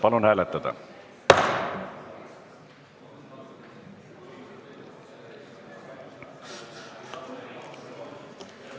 Palun hääletada!